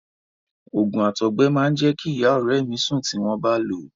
Òògùn àtọgbẹ máa jẹ́ kí ìyá ọ̀rẹ́ mi sùn tí wọ́n bá lòó.